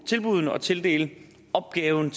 tilbuddene og tildele opgaven